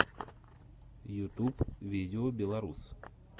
ютуб видеобеларус